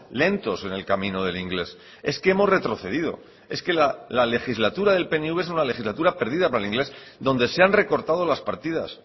lentos en el camino del inglés es que hemos retrocedido es que la legislatura del pnv es una legislatura perdida para el inglés donde se han recortado las partidas